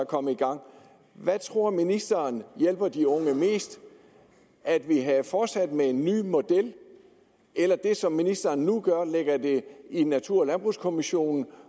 kommet i gang hvad tror ministeren hjælper de unge mest at vi havde fortsat med en ny model eller det som ministeren nu gør nemlig lægger det i natur og landbrugskommissionen